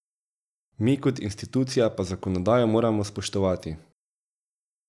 Mi kot institucija pa zakonodajo moramo spoštovati.